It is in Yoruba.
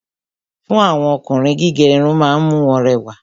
Fún àwọn Ọkùnrin, gígé Irun ma ń mú wọn rẹwà